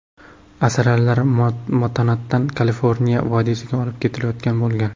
Asalarilar Montanadan Kaliforniya vodiysiga olib ketilayotgan bo‘lgan.